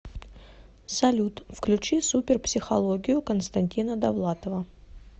салют включи супер психологию константина довлатова